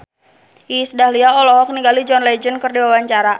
Iis Dahlia olohok ningali John Legend keur diwawancara